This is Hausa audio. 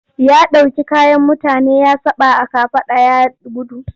Ya ɗauki kayan mutane ya saɓa a kafaɗa ya gudu.